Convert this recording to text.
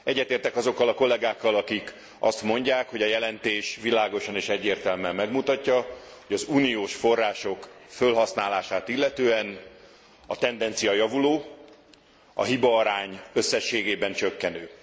Egyetértek azokkal a kollegákkal, akik azt mondják, hogy a jelentés világosan és egyértelműen megmutatja, hogy az uniós források fölhasználását illetően a tendencia javuló, a hibaarány összességében csökkenő.